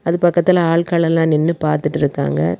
இது பக்கத்துல அட்களெல்லா நின்னு பாத்துட்டு இருக்காங்க.